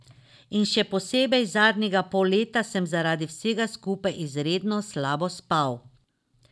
In še posebej zadnjega pol leta sem zaradi vsega skupaj izredno slabo spal.